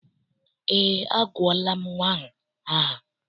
Eé, agụọla nnwa ahụ aha.